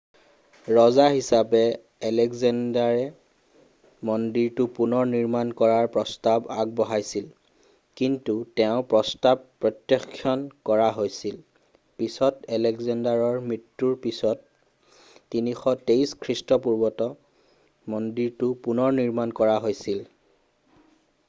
ৰজা হিচাপে আলেক্সেণ্ডাৰে মন্দিৰটো পুনৰ নিৰ্মাণ কৰাৰ প্ৰস্তাৱ আগবঢ়াইছিল কিন্তু তেওঁৰ প্ৰস্তাৱ প্ৰত্যাখ্যান কৰা হৈছিল পিছত আলেক্সেণ্ডাৰৰ মৃত্যুৰ পিছত 323 খ্ৰীষ্টপূৰ্বত মন্দিৰটোৰ পুনৰনিৰ্মাণ কৰা হৈছিল